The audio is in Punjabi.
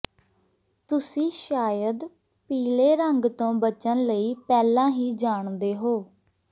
ਤੁਸੀਂ ਸ਼ਾਇਦ ਪੀਲੇ ਰੰਗ ਤੋਂ ਬਚਣ ਲਈ ਪਹਿਲਾਂ ਹੀ ਜਾਣਦੇ ਹੋ